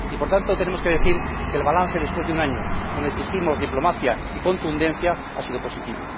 Y, por tanto, tenemos que decir que el balance, después de un año en el que hemos exigido diplomacia y contundencia, ha sido positivo.